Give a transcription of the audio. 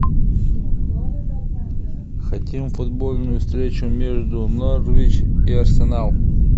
хотим футбольную встречу между норвич и арсенал